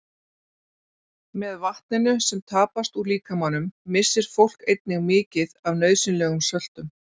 Með vatninu sem tapast úr líkamanum missir fólk einnig mikið af nauðsynlegum söltum.